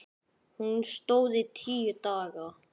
Hún stóð í tíu daga.